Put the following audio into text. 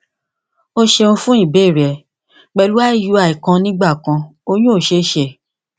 o ṣeun fun ibeere rẹ pẹlu iui kan nigbakan oyun ko ṣee ṣe